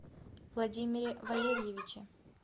владимире валериевиче